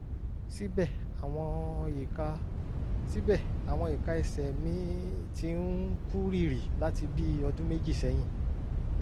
síbẹ̀ àwọn ìka síbẹ̀ àwọn ìka ẹsẹ̀ m ti ń kú rìrì láti bí ọdún méjì sẹ́yìn